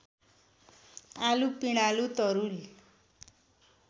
आलु पिँडालु तरुल